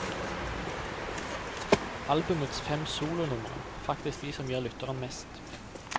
Albumets fem solonumre er faktisk de som gir lytteren mest.